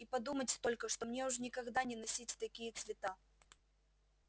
и подумать только что мне уж никогда не носить такие цвета